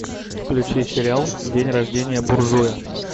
включи сериал день рождение буржуя